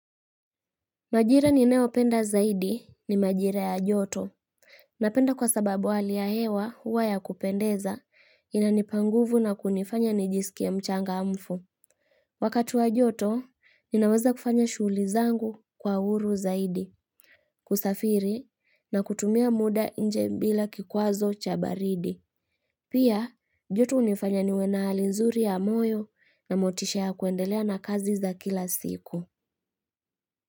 Majira ni neopenda zaidi ni majira ya joto. Napenda kwa sababu wali ya hewa huwa ya kupendeza inanipanguvu na kunifanya ni jisikia mchanga mfu. Wakatu wa joto, ninaweza kufanya shuli zangu kwa uru zaidi, kusafiri na kutumia muda nje bila kikwazo cha baridi. Pia, joto unifanya niwena hali nzuri ya moyo na motisha ya kuendelea na kazi za kila siku.